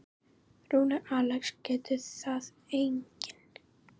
Rúnar Alex getur það einnig.